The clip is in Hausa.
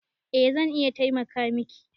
Eh zan iya taimaka miki